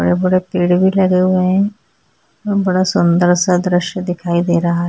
यहाँ पर बड़े पेड़ भी लगें हुए हैं बड़ा सुंदर सा द्रिश्य दिखाई दे रहा है।